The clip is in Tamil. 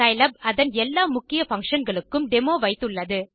சிலாப் அதன் எல்லா முக்கிய பங்ஷன் களுக்கு டெமோ வைத்துள்ளது